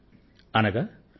ఈ మాటల భావం